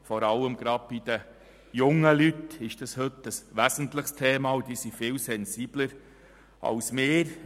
Vor allem bei den jungen Leuten ist das heute ein wesentliches Thema, und sie sind viel sensibilisierter als wir.